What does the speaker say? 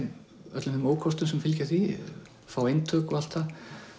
öllum þeim ókostum sem fylgja því fá eintök og allt það